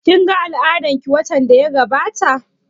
Kin ga al'adan ki watan da ya gabata?